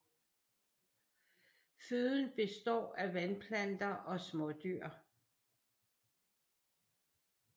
Føden består af vandplanter og smådyr